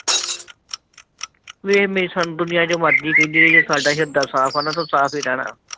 ਵੇਹ ਮੇਰੀ ਸੁਣ ਦੁਨੀਆ ਜੋ ਮਰਜੀ ਕਹਿੰਦੀ ਰਹੀ, ਸਾਡਾ ਹਿਰਦਾ ਸਾਫ ਹੈ ਨਾ ਤੇ ਉਹ ਸਾਫ ਹੀ ਰਹਿਣਾ।